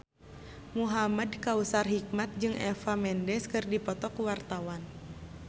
Muhamad Kautsar Hikmat jeung Eva Mendes keur dipoto ku wartawan